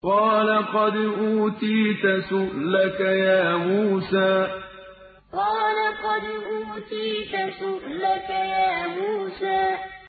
قَالَ قَدْ أُوتِيتَ سُؤْلَكَ يَا مُوسَىٰ قَالَ قَدْ أُوتِيتَ سُؤْلَكَ يَا مُوسَىٰ